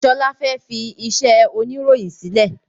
Sọlá fẹ́ fi iṣẹ́ oniroyin sílẹ̀